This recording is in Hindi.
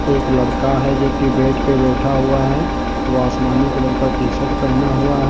एक लड़का है जोकि बेड पर बैठा हुआ है। वह आसमानी कलर का टी शर्ट पहना हुआ है।